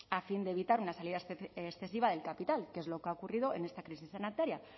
a fin de evitar una salida excesiva del capital que es lo que ha ocurrido en esta crisis sanitaria